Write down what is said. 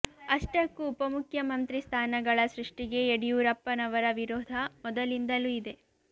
ಅಷ್ಟಕ್ಕೂ ಉಪಮುಖ್ಯಮಂತ್ರಿ ಸ್ಥಾನಗಳ ಸೃಷ್ಟಿಗೆ ಯಡಿಯೂರಪ್ಪ ನವರ ವಿರೋಧ ಮೊದಲಿಂದಲೂ ಇದೆ